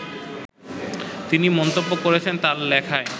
তিনি মন্তব্য করেছেন তার লেখায়